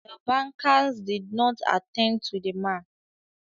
The bankers did not attend to the man